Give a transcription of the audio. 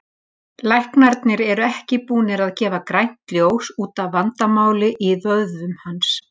Læknarnir eru ekki búnir að gefa grænt ljós útaf vandamáli í vöðvunum hans.